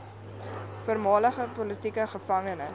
voormalige politieke gevangenes